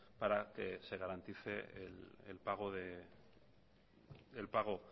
para que se garantice el pago